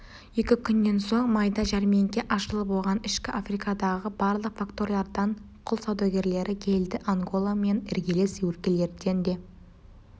екі күннен соң майда жәрмеңке ашылып оған ішкі африкадағы барлық факториялардан құл саудагерлері келді анголамен іргелес өлкелерден де